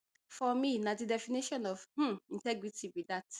for me na di definition of um integrity be dat